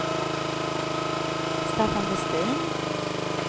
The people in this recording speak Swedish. Staffan Westin